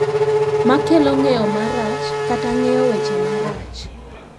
Makelo ng’eyo marach kata ng’eyo weche marach.